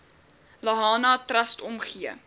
lahana trust omgee